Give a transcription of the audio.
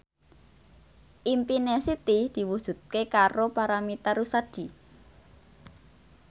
impine Siti diwujudke karo Paramitha Rusady